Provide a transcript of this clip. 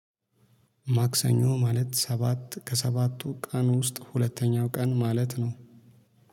ማክሰኞ ማለት ሰባት ከሰባቱ ቀን ውስጥ ሁለተኛው ቀን ማለት ነው